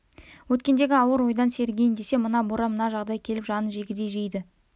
өткендегі ауыр ойдан сергиін десе мына боран мына жағдай келіп жанын жегідей жейді